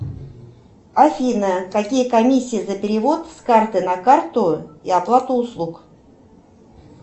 афина какие комиссии за перевод с карты на карту и оплату услуг